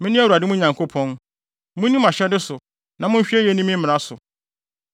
Mene Awurade, mo Nyankopɔn; munni mʼahyɛde so na monhwɛ yiye nni me mmara so.